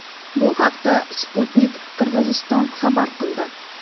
Bu haqda Sputnik Qirg‘iziston xabar qildi.